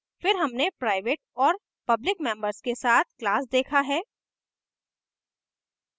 फिर हमने private और public members के साथ class देखा है